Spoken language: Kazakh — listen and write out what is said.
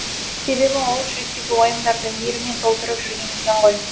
себебі ол жүректегі уайымдарды мейіріммен толтырып жүрген екен ғой